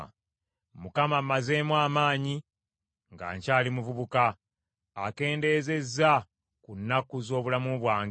Mukama ammazeemu amaanyi nga nkyali muvubuka; akendeezezza ku nnaku z’obulamu bwange.